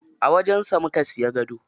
A wajen sa muka siya gado.